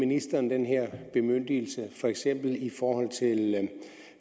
ministeren den her bemyndigelse for eksempel i forhold